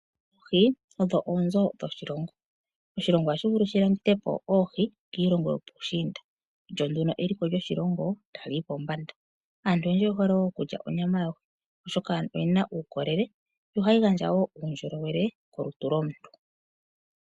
Oohi odho oonzo dhoshilongo, oshilongo ohashi vulu shilandithapo oohi kiilongo yopuushinda lyonduno eliko lyoshilongo taliyi kombanda aantu oyendji oyehole okutya onyama yoohi oshoka oyina uukolele no hayi gandja woo uundjolowele kolutu lwomuntu.